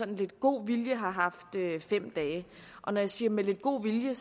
lidt god vilje har haft fem dage og når jeg siger med lidt god vilje